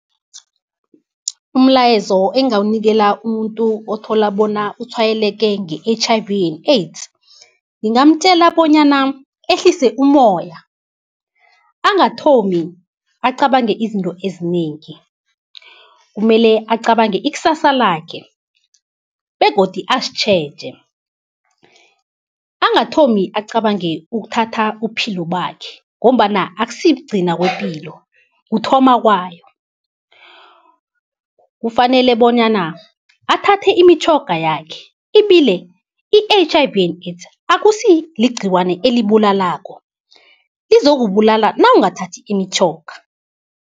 Umlayezo engingawunikela umuntu othola bona utshwayeleke nge-H_I_V and AIDS. Ngingamtjela bonyana ehlise umoya, angathomi acabange izinto ezinengi, kumele acabange ikusasa lakhe begodu azitjheje. Angathomi acabange ukuthatha ubuphilo bakhe ngombana akusi kugcina kwepilo kuthoma kwayo. Kufanele bonyana athathe imitjhoga yakhe ibile i-H_I_V and AIDS akusi ligciwane elibulalako, lizokubulala nawungathathi imitjhoga.